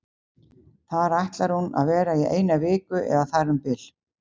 Þar ætlar hún að vera í eina viku eða þar um bil.